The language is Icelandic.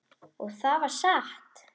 Og það var satt.